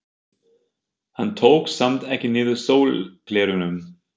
Hann tók samt ekki niður sólgleraugun.